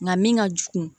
Nka min ka jugu